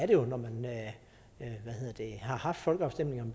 det jo når man har haft folkeafstemninger